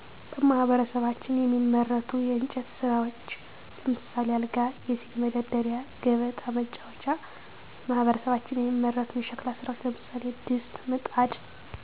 በማህበረሰባችን የሚመረቱ የእንጨት ስራዎች ለምሳሌ አልጋ፣ የስኒ መደርደሪያ፣ ገበጣ መጫወቻ፣ በማህበረሰባችን የሚመረቱ የሸክላ ስራዎች ለምሳሌ ድስት፣ ምጣድ፣